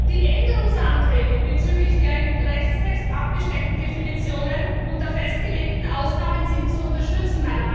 Die Änderungsanträge bezüglich der im Rechtstext abgesteckten Definitionen und der festgelegten Ausnahmen sind zu unterstützen.